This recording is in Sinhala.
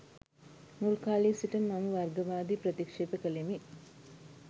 මුල් කාලයේ සිටම මම වර්ගවාදය ප්‍රතික්ෂේප කලෙමි.